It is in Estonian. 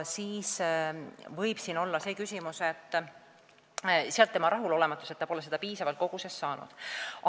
Sealt siis tema rahulolematus, et ta pole seda piisavas koguses saanud.